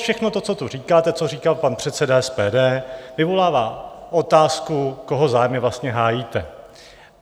Všechno to, co tu říkáte, co říkal pan předseda SPD, vyvolává otázku, koho zájmy vlastně hájíte.